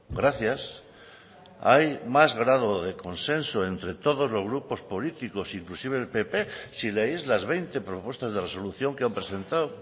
gracias hay más grado de consenso entre todos los grupos políticos inclusive el pp si leéis las veinte propuestas de resolución que han presentado